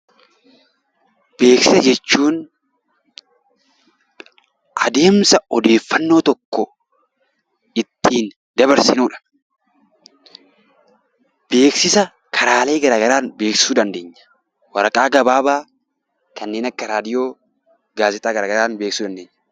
Beeksisa jechuun adeemsa odeeffannoo tokko ittiin dabarsinudha. Beeksisa karaalee garaa garaan beeksisuu ni dandeenya. Waraqaa gabaabaan kanneen akka raadiyoo, gaazexaa garaa garaan beeksisuu dandeenya.